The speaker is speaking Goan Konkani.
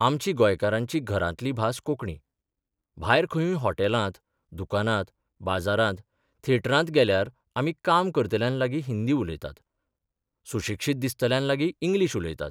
आमची गोंयकारांची घरांतली भास कोंकणी भायर खंयूय हॉटेलांत, दुकानांत, बाजारांत, थेटरांत गेल्यार आमी काम करतल्यांलागी हिंदी उलयतात, सुशिक्षीत दिसतल्यांलागीं इंग्लीश उलयतात.